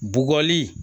Bɔgɔli